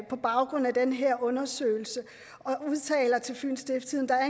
på baggrund af den her undersøgelse og udtaler til fyens stiftstidende at